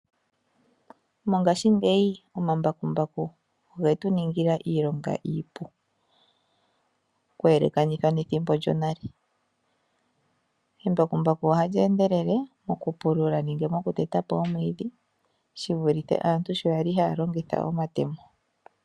Mongashingeyi omambakumbaku ogetu ningila iilonga iipu kuyelekanitha nethimbo lyonale. Embakumbaku ohali endelele mokupulula nenge mokuteta po omwiidhi shivulithe aantu sho yali haya longitha omatemo.